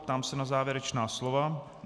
Ptám se na závěrečná slova.